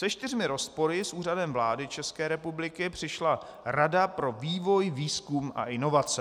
Se čtyřmi rozpory s Úřadem vlády České republiky přišla Rada pro vývoj, výzkum a inovace.